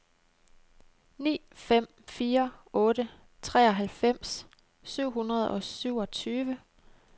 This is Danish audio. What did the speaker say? ni fem fire otte treoghalvfems syv hundrede og syvogtyve